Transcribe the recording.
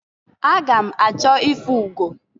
Aga m achọ ịfụ ugo.